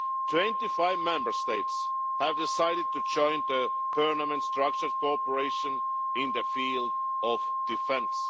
Twenty-five Member States have decided to join the permanent structured cooperation in the field of defence.